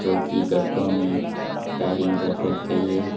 जोकि गत्तों में पैकिंग कर रखी है।